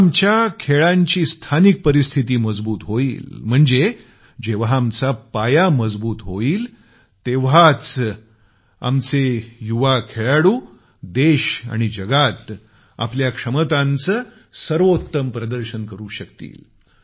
जेव्हा आमच्या स्पोर्ट्सची स्थानिक परिस्थिती मजबूत होईल म्हणजे जेव्हा आमचा पाया मजबूत होईल तेव्हाच आमचे युवा खेळाडू देश आणि जगात आपल्या क्षमतांचं सर्वोत्तम प्रदर्शन करू शकतील